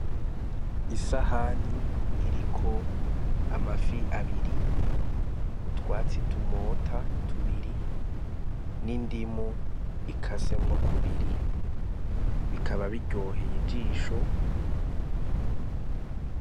Isahani iriko amafi abiri utwatsi tumota tubiri n'indimu ikasemwo kubiri bikaba biryoheye ijisho.